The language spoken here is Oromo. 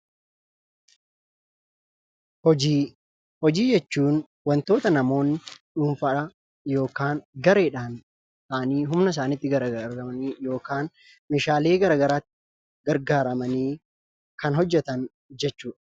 Hojii, hojii jechuun wantoota namoonni dhuunfaadhaan yookaan gareedhaan ta'anii humna isaaniitti gargaarramani, meeshaalee garagaraa gargaarramanii kan hojjatan jechuudha.